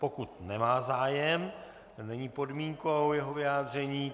Pokud nemá zájem, není podmínkou jeho vyjádření.